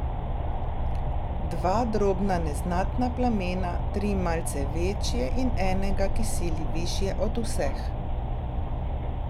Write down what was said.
Dva drobna neznatna plamena, tri malce večje in enega, ki sili višje od vseh.